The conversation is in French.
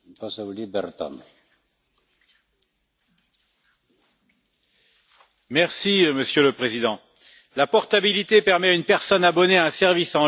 Monsieur le Président, la portabilité permet à une personne abonnée à un service en ligne de continuer à l'utiliser quand elle est en déplacement temporaire dans un autre État membre de l'Union.